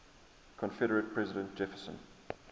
confederate president jefferson